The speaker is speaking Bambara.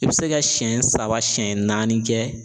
I bɛ se ka siyɛn saba siyɛn naani kɛ